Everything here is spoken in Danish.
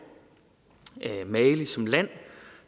mali som land